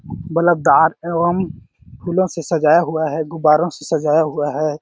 Bulb दार एवं फूलों से सजाया हुआ है गुब्बारों से सजाया हुआ है।